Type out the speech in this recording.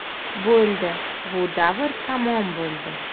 Bo‘ldi, bu davr tamom bo‘ldi.